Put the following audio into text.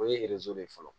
O ye de ye fɔlɔ